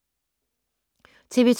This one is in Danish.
TV 2